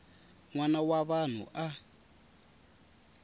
n wana wa vanhu a